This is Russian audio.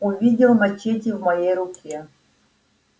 увидел мачете в моей руке